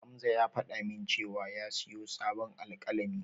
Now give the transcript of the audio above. Hamza ya faɗa min cewa ya siyo sabon alƙalami.